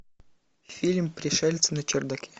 фильм пришельцы на чердаке